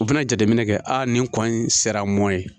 U bɛna jateminɛ kɛ a nin kɔ in sera mɔnɛ ye